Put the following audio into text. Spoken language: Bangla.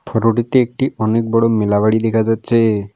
ফটোটিতে একটি অনেক বড়ো মেলা বাড়ি দেখা যাচ্ছে।